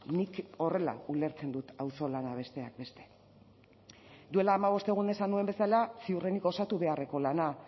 nik horrela ulertzen dut auzolana besteak beste duela hamabost egun esan nuen bezala ziurrenik osatu beharreko lana